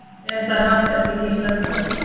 Er þar haft eftir Gísla Kr